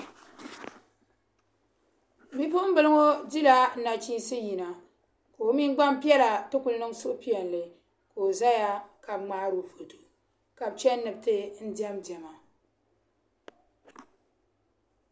Bipuŋbila ŋɔ dila nachiinsi yina ka o mini gbanpiɛla ti kuli niŋ suhupiɛlli ka o zaya ka be ŋmaaro foto ka be chani ni be ti dɛm dɛma.